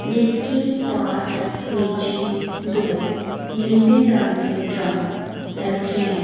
जिसके पास नीचे दो नीले रंग के ड्रम रखे हैं।